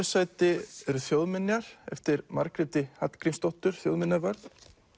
sæti eru þjóðminjar eftir Margréti Hallgrímsdóttur þjóðminjavörð